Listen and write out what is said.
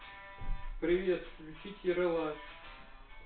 привет включить ералаш